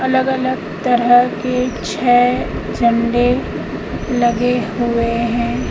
अलग अलग तरह के छह झंडे लगे हुए है।